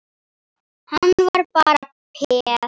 Hann var bara peð.